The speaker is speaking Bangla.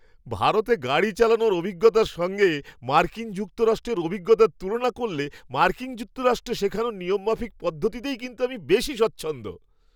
ভারতে গাড়ি চালানোর অভিজ্ঞতার সঙ্গে মার্কিন যুক্তরাষ্ট্রের অভিজ্ঞতার তুলনা করলে, মার্কিন যুক্তরাষ্ট্রে শেখানো নিয়মমাফিক পদ্ধতিতেই কিন্তু আমি বেশি স্বচ্ছন্দ।